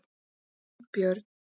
Finnbjörn